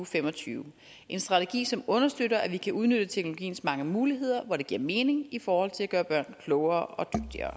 fem og tyve en strategi som understøtter at vi kan udnytte teknologiens mange muligheder hvor de giver mening i forhold til at gøre børn klogere